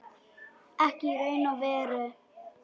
Ekki í raun og veru.